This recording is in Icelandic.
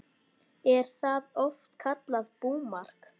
Er það oft kallað búmark.